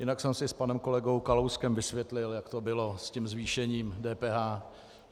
Jinak jsem si s panem kolegou Kalouskem vysvětlil, jak to bylo s tím zvýšením DPH.